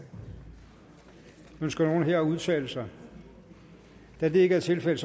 ønsker nogen at udtale sig da det ikke er tilfældet